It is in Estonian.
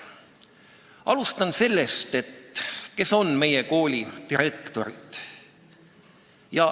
Alustan sellest, kes on meie koolidirektorid.